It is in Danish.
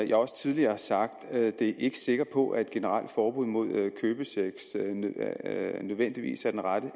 jeg også tidligere har sagt ikke sikker på at et generelt forbud mod købesex nødvendigvis er det rette